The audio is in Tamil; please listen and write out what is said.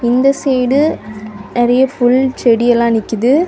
இந்த சைடு நறைய புல் செடி எல்லா நிக்குது.